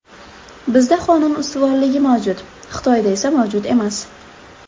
Bizda qonun ustuvorligi mavjud, Xitoyda esa mavjud emas.